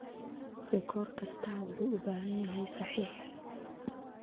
Rikoor kastaa wuxuu u baahan yahay saxiix.